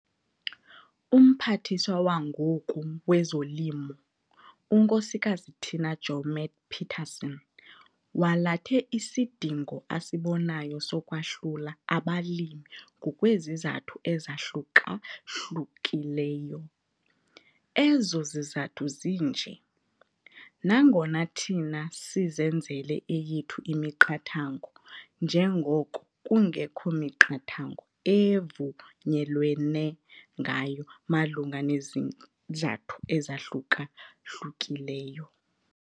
UMphathiswa wangoku wezoLimo, uNksk Tina Joemat-Pettersson walathe isidingo asibonayo sokwahlula abalimi ngokwesisathu ezahluka-hlukileyo. Ezo zizathu zinje. Nangona thina sizenzele eyethu imiqathango njengoko kungekho miqathango evunyelwene ngayo malunga nezizathu ezahluka-hlukileyo.